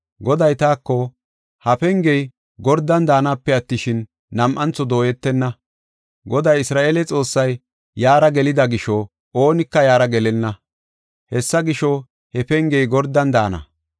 Goday taako, “Ha pengey gordan daanape attishin, nam7antho dooyetenna. Goday Isra7eele Xoossay yaara gelida gisho oonika yaara gelenna. Hessa gisho, he pengey gordan daana.